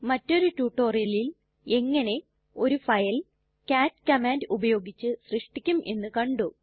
മറ്റൊരു റ്റുറ്റൊരിയലിൽ എങ്ങനെ ഒരു ഫയൽ കാട്ട് കമാൻഡ് ഉപയോഗിച്ച് സൃഷ്ടിക്കും എന്ന് കണ്ടു